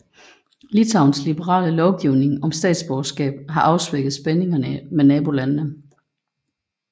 Litauens liberale lovgivning om statsborgerskab har afsvækket spændingerne med nabolandene